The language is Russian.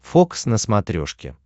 фокс на смотрешке